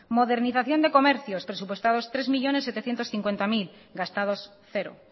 modernización de comercio presupuestados tres millónes setecientos cincuenta mil gastados cero